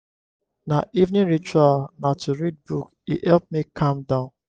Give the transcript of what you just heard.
my evening ritual na to read book e help me calm down